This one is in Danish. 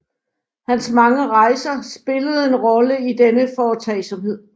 Hans mange rejser spillede en rolle i denne foretagsomhed